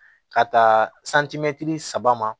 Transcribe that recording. Ka taa saba ma